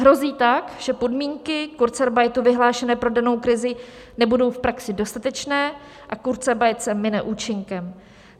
Hrozí tak, že podmínky kurzarbeitu vyhlášené pro danou krizi nebudou v praxi dostatečné a kurzarbeit se mine účinkem.